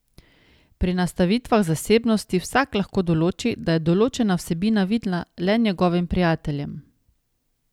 Pri nastavitvah zasebnosti vsak lahko določi, da je določena vsebina vidna le njegovim prijateljem.